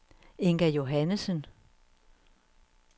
Inga Johannesen